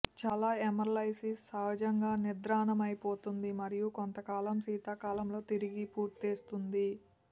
చాలా ఏమరైల్లిస్ సహజంగా నిద్రాణమైపోతుంది మరియు కొంతకాలం శీతాకాలంలో తిరిగి పూరేస్తుంది